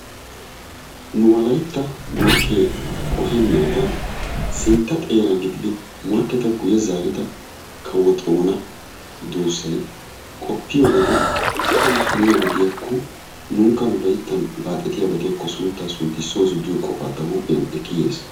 Nu wolaytta morkkee qohennaadan sintta xeera gididi morkketa guyye zaarida kawo xoona duussay qoppiyo wode adan haniyaba diyakko nunkka nu layittan baaxetiyaba diyakko sunttaa sunttissoosu giyo qofaa ta huuphiyan ekki yes.